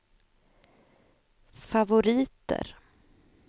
favoriter